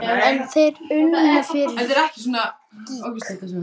En þeir unnu fyrir gýg.